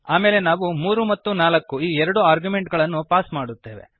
ಆಮೇಲೆ ನಾವು 3 ಮತ್ತು 4 ಈ ಎರಡು ಆರ್ಗ್ಯುಮೆಂಟುಗಳನ್ನು ಪಾಸ್ ಮಾಡುತ್ತೇವೆ